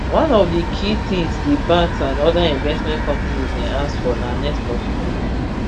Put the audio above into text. one of di key tins di banks and oda investment companies dey ask for na next of kin